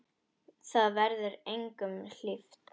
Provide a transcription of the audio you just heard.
Það verður engum hlíft!